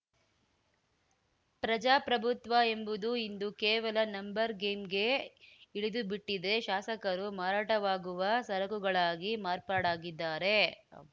ಪ್ರಜಾಪ್ರಭುತ್ವ ಎಂಬುದು ಇಂದು ಕೇವಲ ನಂಬರ್‌ ಗೇಮ್‌ಗೆ ಇಳಿದುಬಿಟ್ಟಿದೆ ಶಾಸಕರು ಮಾರಾಟವಾಗುವ ಸರಕುಗಳಾಗಿ ಮಾರ್ಪಾಡಾಗಿದ್ದಾರೆ